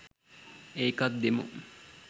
ඒකත් දෙමු